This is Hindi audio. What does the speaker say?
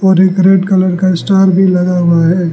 और एक रेड कलर का स्टार भी लगा हुआ है।